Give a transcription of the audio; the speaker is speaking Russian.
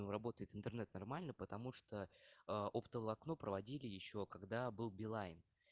ну работает интернет нормально потому что а оптоволокно проводили ещё когда был билайн